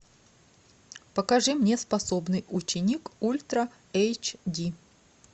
покажи мне способный ученик ультра эйч ди